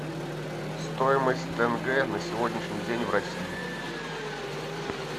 стоимость тенге на сегодняшний день в россии